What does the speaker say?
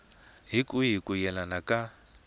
hi kwihi ku yelana ka